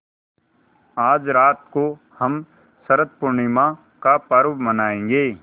आज रात को हम शरत पूर्णिमा का पर्व मनाएँगे